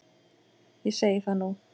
Ég segi það nú!